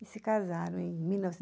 e se casaram em mil